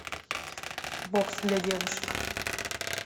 бокс для девушек